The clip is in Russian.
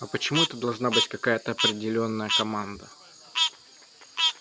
а почему это должна быть какая-то определённая команда